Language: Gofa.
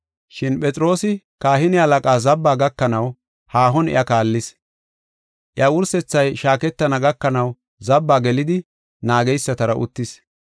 Shin Phexroosi kahine halaqaa zabbaa gakanaw haahon iya kaallis. Iya wursethay shaaketana gakanaw zabbaa gelidi naageysatara uttis.